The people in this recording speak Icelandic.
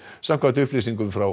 samkvæmt upplýsingum frá